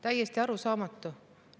Täiesti arusaamatu.